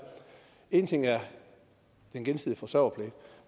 en ting er den gensidige forsørgerpligt